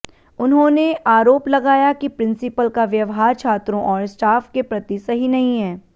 उन्होंने आरोप लगाया कि प्रिंसिपल का व्यवहार छात्रों और स्टॉफ के प्रति सही नहीं है